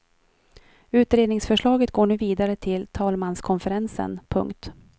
Utredningsförslaget går nu vidare till talmanskonferensen. punkt